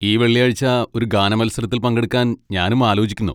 ഈ വെള്ളിയാഴ്ച ഒരു ഗാനമത്സരത്തിൽ പങ്കെടുക്കാൻ ഞാനും ആലോചിക്കുന്നു.